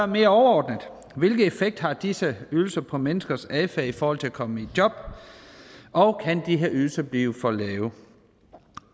mere overordnet hvilken effekt har disse ydelser på menneskers adfærd i forhold til at komme i job og kan de her ydelser blive for lave